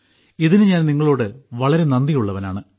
ഇതിന് ഞാൻ നിങ്ങളോട് വളരെ നന്ദിയുള്ളവനാണ്